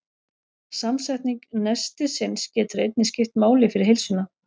Samsetning nestisins getur einnig skipt máli fyrir heilsuna.